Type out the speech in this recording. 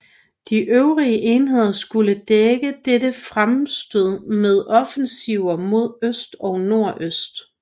De øvrige enheder skulle dække dette fremstød med offensiver mod øst og nordøst